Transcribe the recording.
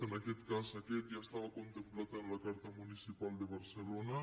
en aquest cas aquest ja estava contemplat en la car·ta municipal de barcelona